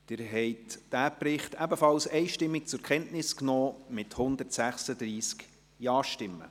Sie haben diesen Bericht ebenfalls einstimmig zur Kenntnis genommen, mit 136 Ja-Stimmen.